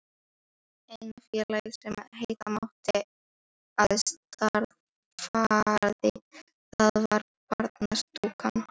Eina félagið, sem heita mátti að starfaði þar, var Barnastúkan.